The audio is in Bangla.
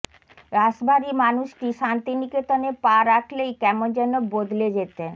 রাশভারী মানুষটি শান্তিনিকেতনে পা রাখলেই কেমন যেন বদলে যেতেন